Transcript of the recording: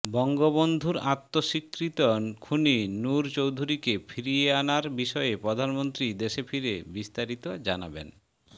বঙ্গবন্ধুর আত্মস্বীকৃত খুনি নূর চৌধুরীকে ফিরিয়ে আনার বিষয়ে প্রধানমন্ত্রী দেশে ফিরে বিস্তারিত জানাবেন